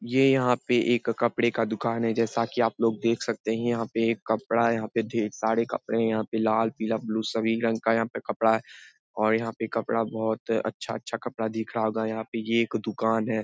ये यहाँ पे एक कपड़े का दुकान है जैसा कि आप लोग देख सकते हैं यहां पर कपडा है यहाँ पर ढेर सारे कपड़े हैं यहाँ पर लाल पिला ब्ल्यू सभी रंग का यहाँ पर कपड़ा है और यहाँ पर कपड़ा बहुत अच्छा अच्छा कपड़ा दिख रहा है यहाँ पर एक दुकान है ।